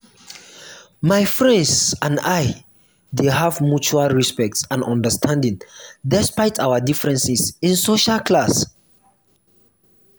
my friends and i dey have mutual respect and understanding despite our differences in social class.